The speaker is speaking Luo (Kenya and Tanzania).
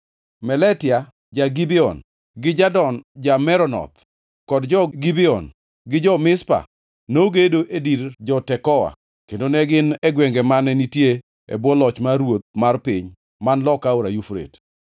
Meletia ja-Gibeon gi Jadon ja-Meronoth kod jo-Gibeon gi jo-Mizpa nogedo e dir jo-Tekoa kendo ne gin e gwenge mane nitie e bwo loch mar ruoth mar piny man loka aora Yufrate.